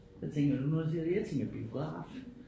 Hvad tænker du når du ser det jeg tænker biograf